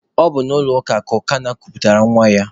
Ọ bụ n'ụlọ ụka Ukanna kuputara nwa ya.